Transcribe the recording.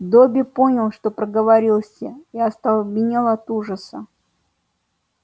добби понял что проговорился и остолбенел от ужаса